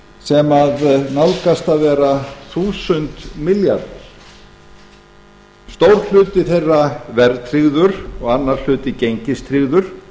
sem nálgast að vera þúsund milljarðar stór hluti þeirra verðtryggður og annar hluti gengistryggður